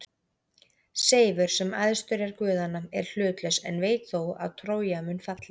Seifur, sem æðstur er guðanna, er hlutlaus en veit þó að Trója mun falla.